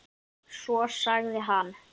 Svo sagði hann